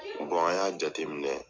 an y'a jateminɛ